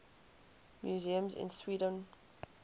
museums in sweden